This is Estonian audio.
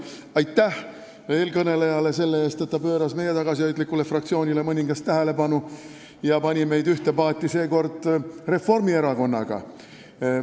Aitäh eelkõnelejale selle eest, et ta pööras meie tagasihoidlikule fraktsioonile mõningast tähelepanu ja pani meid seekord ühte paati Reformierakonnaga.